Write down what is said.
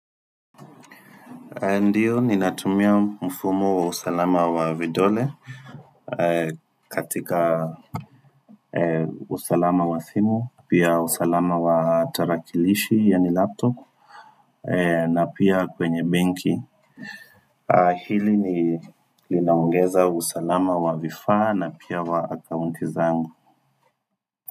Ndiyo, ni natumia mfumo wa usalama wa vidole katika usalama wa simu, pia usalama wa tarakilishi, yanilaptop, na pia kwenye benki. Hili ni linongeza usalama wa vifaa na pia wa akaunti zangu.